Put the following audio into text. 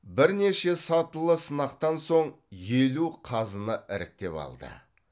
бірнеше сатылы сынақтан соң елу қазыны іріктеп алды